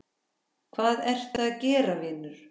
hvað ertu að gera vinur????